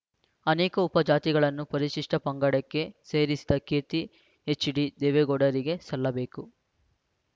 ಅನೇಕ ಉಪಜಾತಿಗಳನ್ನು ಪರಿಶಿಷ್ಟಪಂಗಡಕ್ಕೆ ಸೇರಿಸಿದ ಕೀರ್ತಿ ಎಚ್‌ಡಿ ದೇವೇಗೌಡರಿಗೆ ಸಲ್ಲಬೇಕು